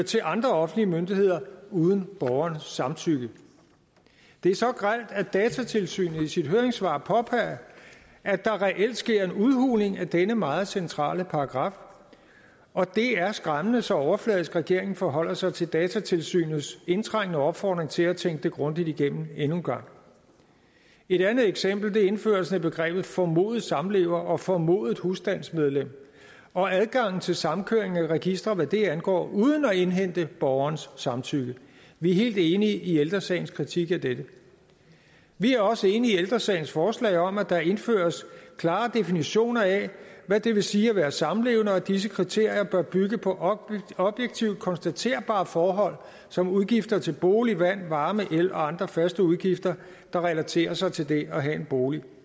til andre offentlige myndigheder uden borgerens samtykke det er så grelt at datatilsynet i sit høringssvar påpeger at der reelt sker en udhuling af denne meget centrale paragraf og det er skræmmende så overfladisk regeringen forholder sig til datatilsynets indtrængende opfordring til at tænke det grundigt igennem endnu en gang et andet eksempel er indførelsen af begrebet formodede samlever og formodede husstandsmedlem og adgangen til samkøring af registre hvad det angår uden at indhente borgerens samtykke vi er helt enige i ældre sagens kritik af dette vi er også enige i ældre sagens forslag om at der indføres klare definitioner af hvad det vil sige at være samlevende og disse kriterier bør bygge på objektivt konstaterbare forhold som udgifter til bolig vand varme el og andre faste udgifter der relaterer sig til det at have en bolig